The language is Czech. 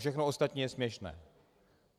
Všechno ostatní je směšné.